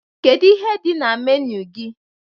Kedu ihe dị na menu gị